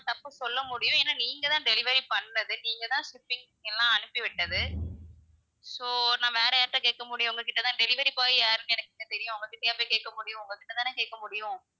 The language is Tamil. தப்பு சொல்ல முடியும் ஏன்னா நீங்க தான் delivery பண்றது நீங்க தான் shipping க்கு எல்லாம் அனுப்பி விட்டது so நான் வேற யார்ட்ட கேக்க முடியும், உங்ககிட்ட தான் delivery boy யார்ன்னு எனக்கா தெரியும் அவங்கக்கிட்டயா நான் போய் கேக்க முடியும் உங்க கிட்ட தான கேக்க முடியும்.